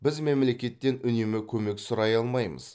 біз мемлекеттен үнемі көмек сұрай алмаймыз